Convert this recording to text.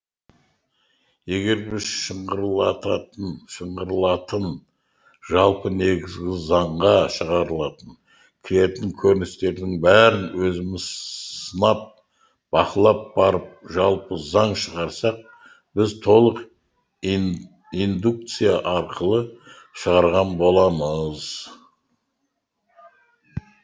егер біз шыңғарылататын жалпы негізгі заңға шығарылатын кіретін көріністердің бәрін өзіміз сынап бақылап барып жалпы заң шығарсақ біз толық индукция арқылы шығарған боламыз